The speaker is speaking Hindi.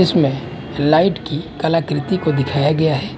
इसमें लाइट की कलाकृति को दिखाया गया है।